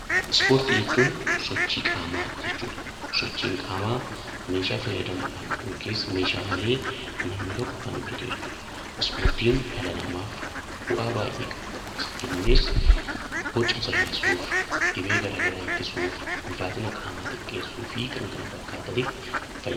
Ispoortii jechuun sochii qaamaa jechuudha. Sochiin qaamaa meeshaa fayyadamuudhaan akkasumas meeshaa malee namni tokko kan hojjatu jechuudha. Ispoortiin dhala namaatiif fayidaa hedduu qaba. Innis Boca sirreessuuf, dhibee garaagaraa ittisuuf, ulfaatina namaa xiqqeessuuf fi kan kana fakkaatan